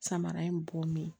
Samara in bɔmin